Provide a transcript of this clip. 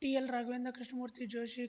TL Raghavendra Krishnamurthy Joshi